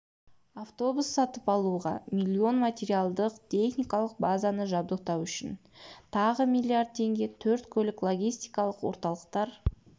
автобус сатып алуға миллион материалдық техникалық базаны жабдықтау үшін тағы миллиард теңге төрт көлік-логистикалық орталықтар